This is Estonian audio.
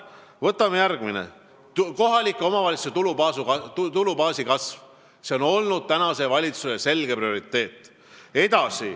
Võtame järgmiseks kohalike omavalitsuste tulubaasi kasvu, mis on olnud praeguse valitsuse selge prioriteet.